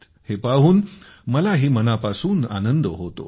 हे पाहून मलाही मनापासून आनंद होतो